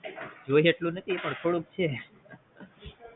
જોયે એટલું નથી પણ થોડુંક છે